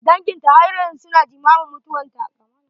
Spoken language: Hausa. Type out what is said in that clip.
Danginta har yanzu su na jimamin mutuwarta.